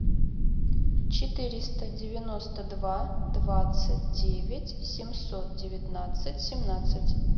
четыреста девяносто два двадцать девять семьсот девятнадцать семнадцать